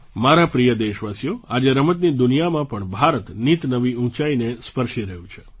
મારા પ્રિય દેશવાસીઓ આજે રમતની દુનિયામાં પણ ભારત નિતનવી ઊંચાઈને સ્પર્શી રહ્યું છે